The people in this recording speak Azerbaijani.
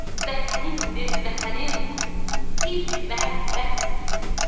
Vətənindir, Vətənin ilk məhəbbət deyirəm.